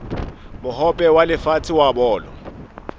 mohope wa lefatshe wa bolo